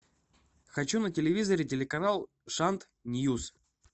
хочу на телевизоре телеканал шант ньюс